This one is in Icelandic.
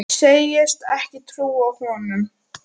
Segist ekki trúa honum.